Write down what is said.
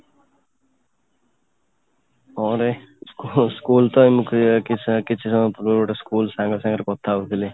ହଁ ରେ school ତ କିଛି ସମୟ ପୂର୍ବରୁ ଗୋଟେ school ସାଙ୍ଗ ସାଙ୍ଗରେ କଥା ହଉଥିଲି